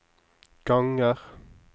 ganger